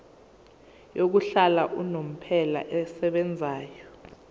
yokuhlala unomphela esebenzayo